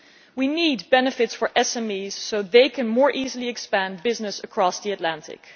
We need benefits for SMEs so they can more easily expand business across the Atlantic.